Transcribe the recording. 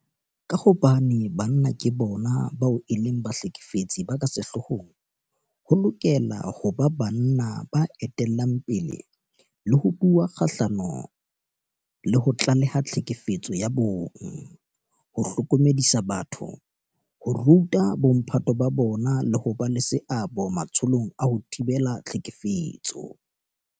Ka hobane banna ke bona bao e leng bahlekefetsi ba ka sehloohong, ho lokela ho ba banna ba etellang pele ho bua kgahlano le ho tlaleha tlhekefetso ya bong, ho hlokomedisa batho, ho ruta bomphato ba bona le ho ba le seabo matsholong a ho thibela tlhekefetso.